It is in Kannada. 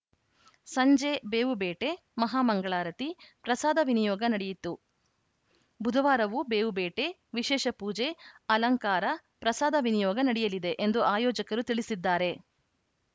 ಸಂಜೆ ಬೇವು ಬೇಟೆ ಮಹಾ ಮಂಗಳಾರತಿ ಪ್ರಸಾದ ನಿಯೋಗ ನಡೆಯಿತು ಬುಧವಾರವೂ ಬೇವು ಬೇಟೆ ವಿಶೇಷ ಪೂಜೆ ಅಲಂಕಾರ ಪ್ರಸಾದ ವಿನಿಯೋಗ ನಡೆಯಲಿದೆ ಎಂದು ಆಯೋಜಕರು ತಿಳಿಸಿದ್ದಾರೆ